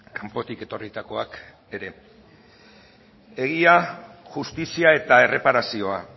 kanpotik etorritakoak ere